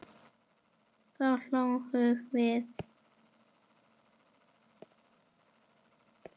Þá hlógum við.